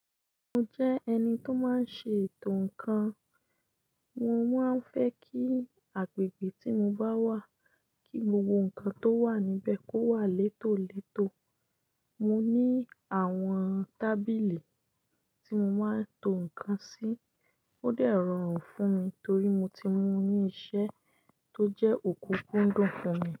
Mo jẹ́ ẹni tó máa ń ṣe ètò ǹkan. Mo máa ń fẹ́ kí agbègbè tí mo bá wà, kí gbogbo ǹkan tó wà níbẹ̀ kó wà létòletò. Mo ní àwọn tábìlì tí mo máa ń to ǹkan sí. Ó dẹ̀ rọrùn fún mi torí mo ti mú ní iṣẹ́ tó jẹ́ òkúkúndùn fún mi.